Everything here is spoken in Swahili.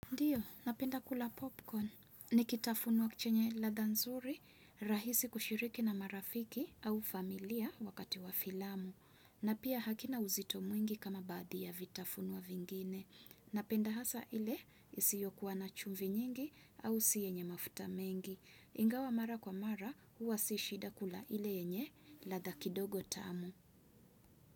Ndiyo, napenda kula popcorn. Ni kitafuno chenye ladha nzuri, rahisi kushiriki na marafiki au familia wakati wa filamu. Na pia hakina uzito mwingi kama baadhi ya vitafunwa vingine. Napenda hasa ile isiyo kuwa na chumvi nyingi au si yenye mafuta mengi. Ingawa mara kwa mara huwa si shida kula ile yenye ladha kidogo tamu.